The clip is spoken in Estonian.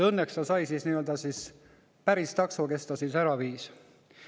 Õnneks ta sai siis päris takso, kes ta ära viis.